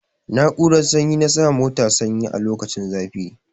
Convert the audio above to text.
Na'urar sanyi na sa mota sanyi a lokacin zafi.